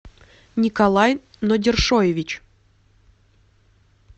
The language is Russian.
николай нудершоевич